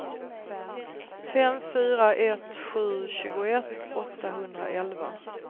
fem fyra ett sju tjugoett åttahundraelva